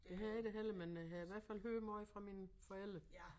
Det har jeg da heller ikke men øh har i hvert fald hørt måj fra mine forældre